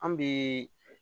An bɛ